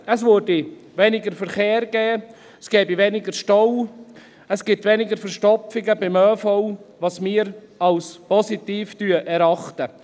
Es gäbe weniger Verkehr, es gäbe weniger Staus, es gäbe weniger Verstopfungen beim ÖV, was wir als positiv erachten.